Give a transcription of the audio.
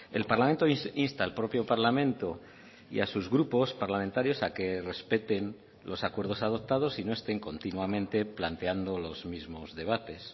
el parlamento insta al propio parlamento y a sus grupos parlamentarios a que respeten los acuerdos adoptados y no estén continuamente planteando los mismos debates